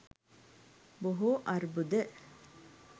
බොහෝ අර්බුද